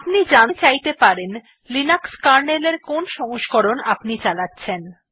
আপনি জানতে চাইতে পারেন লিনাক্স কার্নেল এর কোন সংস্করণ আপনি চালাচ্ছেন